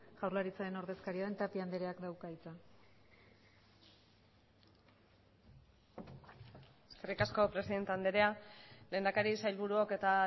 jaurlaritzaren ordezkaria den tapia andreak dauka hitza eskerrik asko presidente andrea lehendakari sailburuok eta